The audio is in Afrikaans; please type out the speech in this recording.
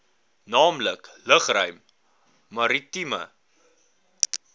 naamlik lugruim maritieme